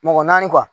Mɔgɔ naani